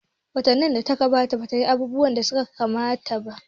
Gwamnatin da ta gabata ba ta yi abubuwa da suka kamata ba.